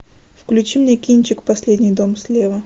включи мне кинчик последний дом слева